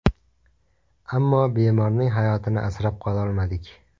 Ammo bemorning hayotini asrab qololmadik”.